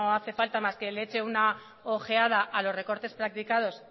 hace falta más que le eche una ojeada a los recortes practicados